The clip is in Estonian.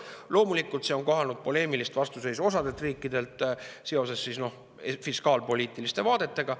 Loomulikult, see on kohanud poleemilist vastuseisu osadelt riikidelt seoses fiskaalpoliitiliste vaadetega.